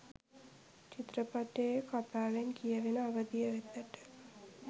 චිත්‍රපටියේ කථාවෙන් කියවෙන අවධිය වෙතට.